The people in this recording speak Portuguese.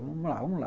Vamos lá, vamos lá.